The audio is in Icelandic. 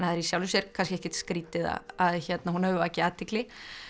er í sjálfu sér kannski ekkert skrýtið að hún hafi vakið athygli